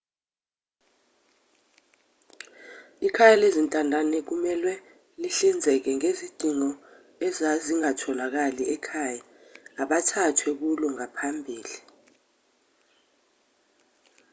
ikhaya lezintandane kumelwe lihlinzeke ngezidingo ezazingatholakali ekhaya abathathwe kulo ngaphambili